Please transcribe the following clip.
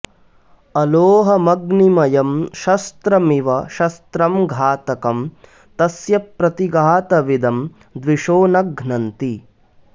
अलोहमग्निमयं शस्त्रमिव शस्त्रं घातकं तस्य प्रतिघातविदं द्विषो न घ्नन्ति